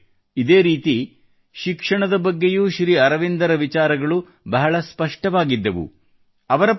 ಮಿತ್ರರೆ ಇದೇ ರೀತಿ ಶಿಕ್ಷಣದ ಬಗ್ಗೆಯೂ ಶ್ರೀ ಅರವಿಂದರ ವಿಚಾರಗಳು ಬಹಳ ಸ್ಪಷ್ಟವಾಗಿದ್ದವು